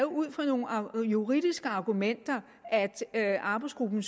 ud fra nogle juridiske argumenter at arbejdsgruppen